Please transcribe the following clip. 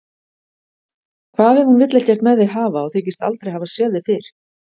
Hvað ef hún vill ekkert með þig hafa og þykist aldrei hafa séð þig fyrr?